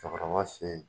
Cɛkɔrɔba fe yen